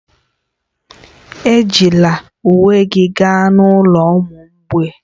Ejila uwe gị gaa n'ụlọ ụmụ mgbei